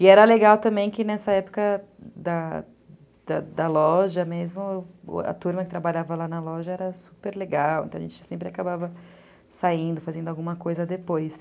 E era legal também que nessa época da da loja mesmo, a turma que trabalhava lá na loja era super legal, então a gente sempre acabava saindo, fazendo alguma coisa depois.